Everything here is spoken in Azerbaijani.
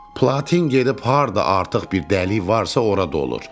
Platin gedib harda artıq bir dəli varsa, ora dolur.